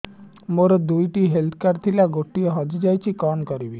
ମୋର ଦୁଇଟି health card ଥିଲା ଗୋଟିଏ ହଜି ଯାଇଛି କଣ କରିବି